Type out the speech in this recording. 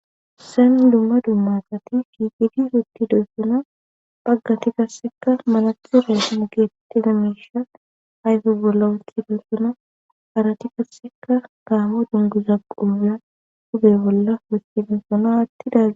Lumma dummaxati kiigidi ruuti doyssona phaggati gasseka malaki reesine geettida meisha hayfe bolla wuti doessona arati kasseka kaamo dunguza quya hubey bolla wostibinsona aattidazia.